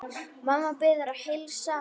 Mamma biður að heilsa.